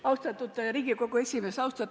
Austatud Riigikogu esimees!